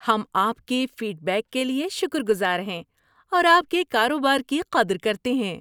ہم آپ کے فیڈ بیک کے لیے شکر گزار ہیں اور آپ کے کاروبار کی قدر کرتے ہیں۔